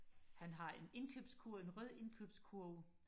han har en indkøbskurv en rød indkøbskurv